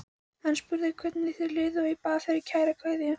Hann spurði hvernig þér liði og bað fyrir kæra kveðju.